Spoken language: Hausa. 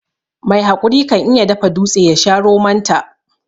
Mai haƙuri kan iya dafa dutse yasha romon ta.